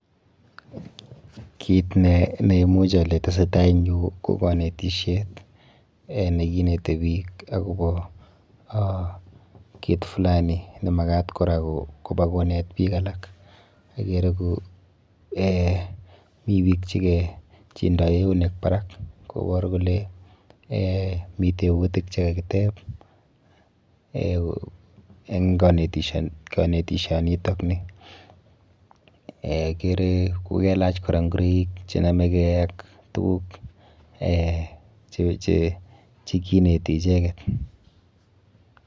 Kit neimuch ale tesetai eng yu ko kanetisiet eh nekinete biik akopo ah kit flani nemakat kora kopa konet biik alak. Akere eh mi biik chike chindoi eunek barak kopor kore eh mi teputik chekakitep eh eng kanetisionitokni. Akere kokelach kora ngureik chenameke ak tuguk eh chekineti icheket.